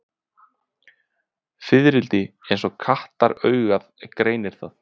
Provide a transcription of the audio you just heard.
Fiðrildi eins og kattaraugað greinir það.